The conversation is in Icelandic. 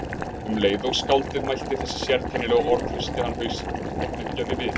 Um leið og skáldið mælti þessi sérkennilegu orð hristi hann hausinn og hneggjaði við.